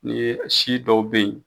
N'i ye si dɔw bɛ ye.